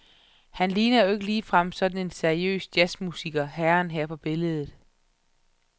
Han ligner jo ikke ligefrem sådan en seriøs jazzmusiker, herren her på billedet.